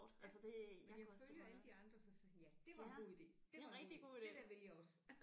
Ja man følger alle de andre og så sagde jeg ja det var en god ide det var en god ide det der vil jeg også